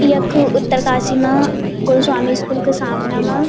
यख उत्तरकाशी मा गोस्वामी स्कूल क सामना मा।